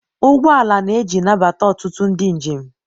ụgbọ ala na-eji nabata ọtụtụ ndị njem.